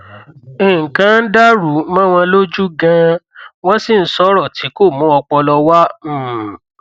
nnlkan dàrú mọ wọn lójú ganan wọn sì ń sọrọ tí kò mú ọpọlọ wá um